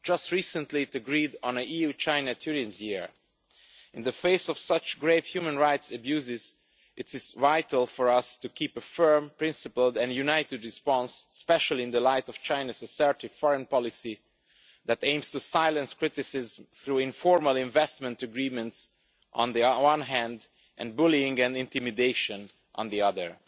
Just recently it agreed on an EU China Tourism Year. In the face of such grave human rights abuses, it is vital for us to keep a firm, principled and united response, especially in the light of China's assertive foreign policy that aims to silence criticism through informal investment agreements on the one hand and bullying and intimidation on the other.